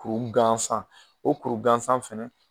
Kuru gansan . O kuru gansan fɛnɛ